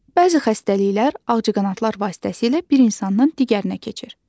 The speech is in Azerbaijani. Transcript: Bəzi xəstəliklər ağcaqanadlar vasitəsilə bir insandan digərinə keçir.